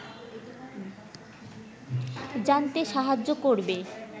জানতে সাহায্য করবে